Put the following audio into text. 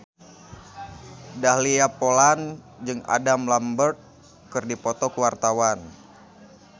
Dahlia Poland jeung Adam Lambert keur dipoto ku wartawan